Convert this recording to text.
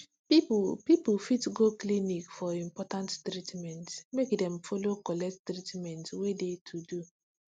people people fit go clinic for important treatment make dem follow collect treatment wey de to do